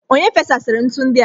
Onye fesara ntu ndi a?